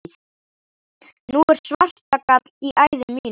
Nú er svartagall í æðum mínum.